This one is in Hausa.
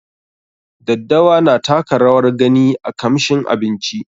Daddawa na taka rawar gani a kamshin abinci.